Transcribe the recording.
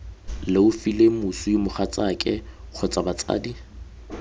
leofile moswi mogatsaake kgotsa batsadi